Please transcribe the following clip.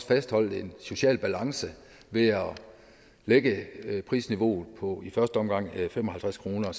fastholdt en social balance ved at lægge prisniveauet på i første omgang fem og halvtreds kroner